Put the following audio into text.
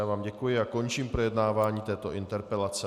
Já vám děkuji a končím projednávání této interpelace.